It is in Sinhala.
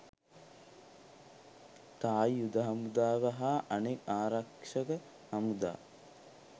තායි යුධ හමුදාව හා අනෙක් ආරක්ෂක හමුදා